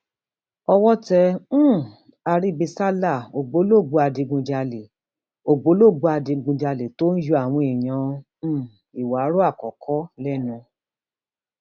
owó tẹ um àrìbìsálà ògbólógbòó adigunjalè ògbólógbòó adigunjalè tó ń yọ àwọn èèyàn um ìwárọ àkọkọ lẹnu